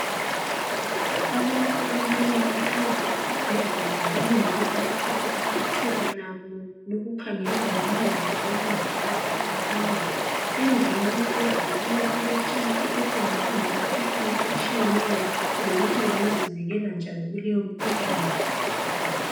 Abantu abane bahlezi eSibhedlela balinde ukuthi ithuba labo lokukhangelwa ngoMongi labo Mongikazi lifike, endlini abahlezi kiyo kule 'chat' etshengisa ngemikhuhlane etshiyeneyo lokuthi bengazivikela njani kuleyo mkhuhlane